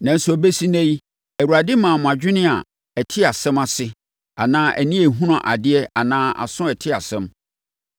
Nanso, ɛbɛsi ɛnnɛ yi, Awurade mmaa mo adwene a ɛte asɛm ase anaa ani a ɛhunu adeɛ anaa aso a ɛte asɛm.